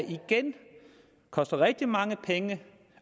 igen koster rigtig mange penge